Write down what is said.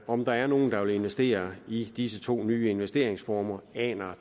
om der er nogen der vil investere i disse to nye investeringsformer aner